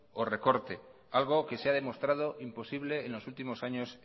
o recorte algo que se ha demostrado imposible en los últimos años